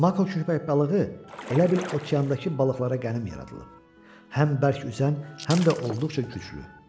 Mako köpək balığı elə bil okeandakı balıqlara qənim yaradılıb, həm bərk üzən, həm də olduqca güclü.